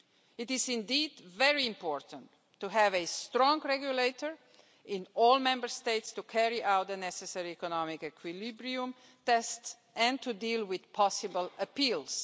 It is indeed very important to have a strong regulator in all Member States to carry out the necessary economic equilibrium tests and to deal with possible appeals.